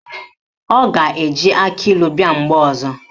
Ọ ga-eji akịlụ bịa mgbe ọzọ?